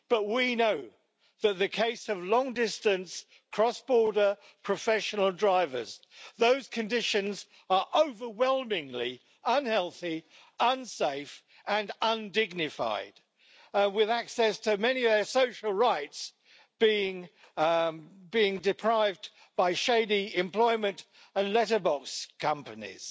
We know that, in the case of long-distance, cross border professional drivers, those conditions are overwhelmingly unhealthy, unsafe and undignified, with access to many of their social rights being deprived by shady employment and letterbox companies.